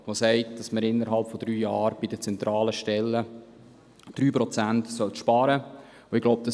Darin wird gesagt, dass man innerhalb von drei Jahren bei den zentralen Stellen 3 Prozent sparen sollte.